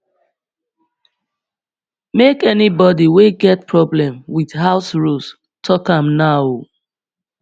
make anybody wey get problem wit house rules tok am now o